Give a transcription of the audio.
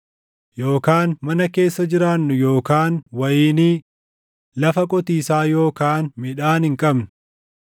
Yookaan mana keessa jiraannu yookaan wayinii, lafa qotiisaa yookaan midhaan hin qabnu.